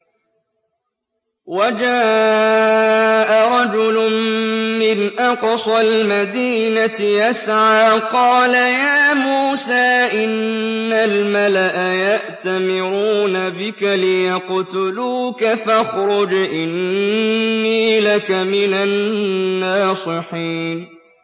وَجَاءَ رَجُلٌ مِّنْ أَقْصَى الْمَدِينَةِ يَسْعَىٰ قَالَ يَا مُوسَىٰ إِنَّ الْمَلَأَ يَأْتَمِرُونَ بِكَ لِيَقْتُلُوكَ فَاخْرُجْ إِنِّي لَكَ مِنَ النَّاصِحِينَ